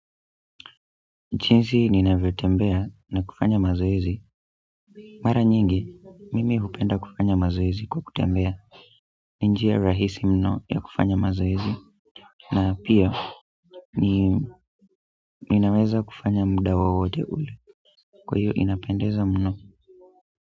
Jinsi ninavyotembea na kufanya mazoezi mara nyingi, mimi hupenda kufanya mazoezi kwa kutembea ni njia rahisi mno ya kufanya mazoezi na pia, ninaweza kufanya muda wowote ule kwa hiyo inapendeza mno.